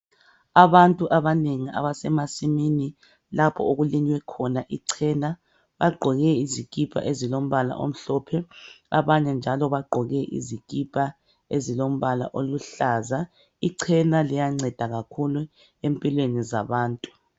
Abantu abanengi abasemasimini lapho okulinywe khona ichena bagqoke izikipa ezilombala omhlophe abanye njalo bagqoke izikipa ezilombala oluhlaza ichena liyanceda kakhulu empilweni zabantu.